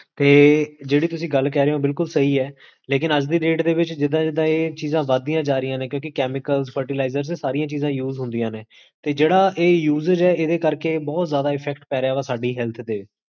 ਤੇ ਜੇਹੜੀ ਤੁਸੀਂ ਗਲ ਕਰ ਰਹੇ ਹੋ, ਬਿਲਕੁਲ ਸਹੀ ਹੈ ਲੇਕਿਨ ਅੱਜ ਦੀ date ਦੇ ਵਿੱਚ ਜਿੱਦਾਂ ਜਿਦਾਂ ਇਹ ਚੀਜ਼ਾਂ ਵਦੀਆਂ ਜਾ ਰਹੀਆਂ ਨੇ, ਕਿਓਂਕਿ chemicals, fertilisers, ਇਹ ਸਾਰੀਆਂ ਚੀਜ਼ਾਂ use ਹੁੰਦੀਆਂ ਨੇ, ਤੇ ਜੇਹੜਾ ਇਹ usage ਹੈ, ਏਦੇ ਕਰ ਕੇ ਬੋਹੋਤ ਜ਼ਾਦਾ effect ਪੈਰੇਹਾ ਸਾਡੀ health ਤੇ